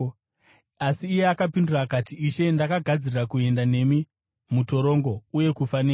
Asi iye akapindura akati, “Ishe, ndakagadzirira kuenda nemi mutorongo uye kufa nemi.”